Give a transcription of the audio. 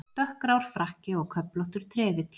Dökkgrár frakki og köflóttur trefill.